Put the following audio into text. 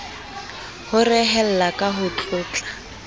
ho rehella ka ho tlotla